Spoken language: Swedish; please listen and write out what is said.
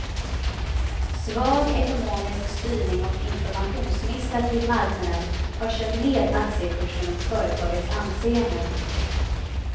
Svag ekonomisk styrning och informationsmissar till marknaden har kört ned aktiekursen och företagets anseende.